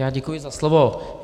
Já děkuji za slovo.